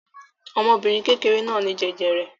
Ọmọbìnrin kékeré náà ní jẹjẹrẹ.